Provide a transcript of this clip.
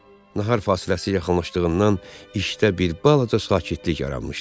Nahar fasiləsi yaxınlaşdığından işdə bir balaca sakitlik yaranmışdı.